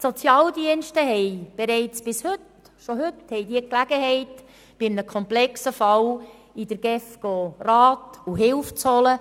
Die Sozialdienste haben bei einem komplexen Fall schon heute Gelegenheit, bei der GEF Rat und Hilfe zu holen.